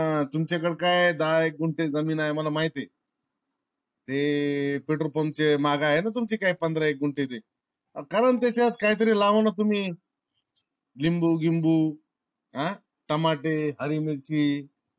तुमच्या कडे काय दहा एक गुंठे जमीन आहे मला माहिती आहे. ते petrol pump चे माग आहे ना पंधरा एक गुंठे ती? अहो करणा तेच्यात काही तरी लावाना तुम्ही लिंबू गिंबू हा टमाटे, हरी मिरची